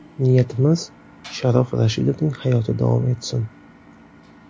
Niyatimiz, Sharof Rashidovning hayoti davom etsin.